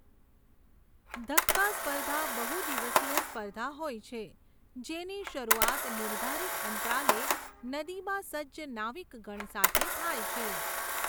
ધક્કા સ્પર્ધા બહુ દિવસીય સ્પર્ધા હોય છે જેની શરૂઆત નિર્ધારિત અંતરાલે નદીમાં સજ્જ નાવિકગણ સાથે થાય છે.